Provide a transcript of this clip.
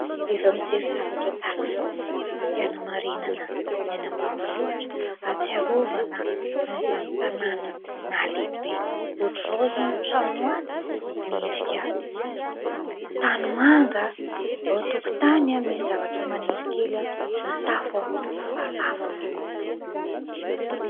Rehefa mijery zavatra tahaka izao dia hanamarinana ny any ambanivohitra, ahatsiarovana an'izany tanàna nahalehibe. Ohatr'izao izao ny trano any, miendrika tanimanga. Ao an-tokotany misy zavatra maniry kely, ny tafo falafa.